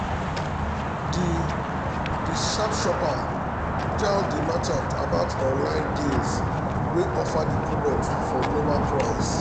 di di sharp shopper tell di merchant about online deals wey offer di product for lower price.